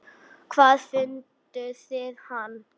Hvar funduð þið hann?